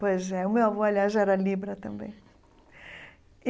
Pois é, o meu avô, aliás, já era Libra também.